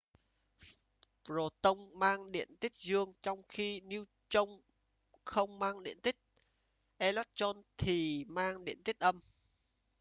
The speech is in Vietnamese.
proton mang điện tích dương trong khi neutron không mang điện tích electron thì mang điện tích âm